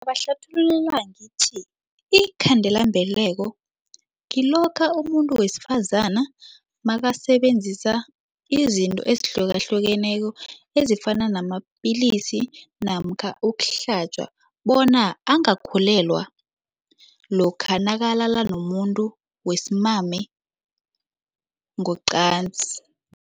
Ngobahlathululela ngithi iinkhandelambeleko kilokha umuntu wesifazana nakasebenzisa izinto ezihlukahlukeneko ezifana namapilisi namkha ukuhlatjwa bona angakhulelwa lokha nakalala nomuntu wesimame ngocansi.